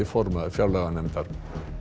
formaður fjárlaganefndar